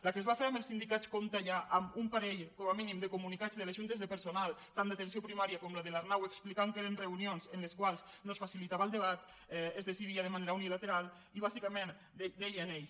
la que es va fer amb els sindicats compta ja amb un parell com a mínim de comunicats de les juntes de personal tant d’atenció primària com la de l’arnau que expliquen que eren reunions en les quals no es facilitava el debat es decidia de manera unilateral i bàsicament deien ells